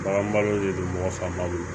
Bagan malo de don mɔgɔ fanba don